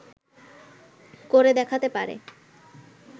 করে দেখাতে পারে